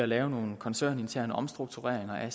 laver nogle koncerninterne omstruktureringer af